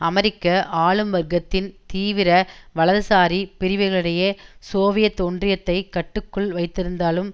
அமெரிக்க ஆளும் வர்க்கத்தின் தீவிர வலதுசாரி பிரிவுகளிடையே சோவியத் ஒன்றியத்தைக் கட்டுக்குள் வைத்திருத்தலும்